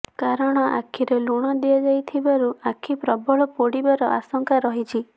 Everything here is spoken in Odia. କାରଣ ଆଖିରେ ଲୁଣ ଦିଆଯାଇଥିବାରୁ ଆଖି ପ୍ରବଳ ପୋଡ଼ିବାର ଆଶଙ୍କା ରହିଛି